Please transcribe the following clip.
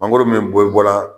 Mangoro min bɛ bɔla